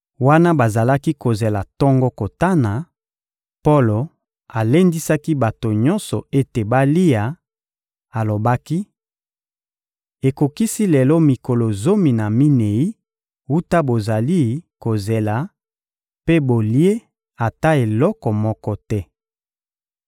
Wana bazalaki kozela tongo kotana, Polo alendisaki bato nyonso ete balia; alobaki: — Ekokisi lelo mikolo zomi na minei wuta bozali kozela, mpe bolie ata eloko moko te.